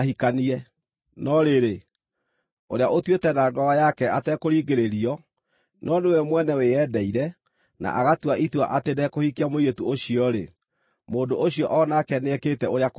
No rĩrĩ, ũrĩa ũtuĩte na ngoro yake atekũringĩrĩrio, no nĩwe mwene wĩyendeire, na agatua itua atĩ ndekũhikia mũirĩtu ũcio-rĩ, mũndũ ũcio o nake nĩekĩte ũrĩa kwagĩrĩire.